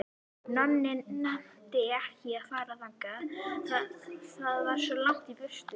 Nonni nennti ekki að fara þangað, það var svo langt í burtu.